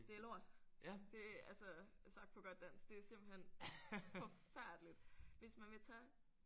Det er lort. Det altså sagt på godt dansk det er simpelthen forfærdeligt. Hvis man vil tage